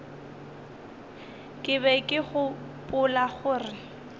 ke be ke gopola gore